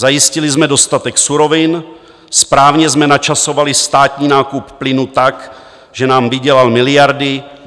Zajistili jsme dostatek surovin, správně jsme načasovali státní nákup plynu tak, že nám vydělal miliardy.